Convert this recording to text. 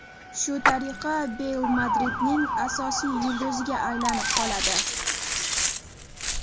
Shu tariqa Beyl Madridning asosiy yulduziga aylanib qoladi.